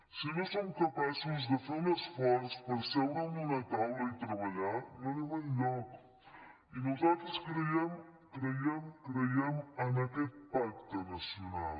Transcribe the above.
si no som capaços de fer un esforç per seure en una taula i treballar no anem enlloc i nosaltres creiem creiem creiem en aquest pacte nacional